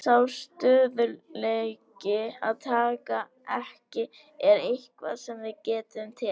Sá stöðugleiki að taka ekki er eitthvað sem við getum tekið.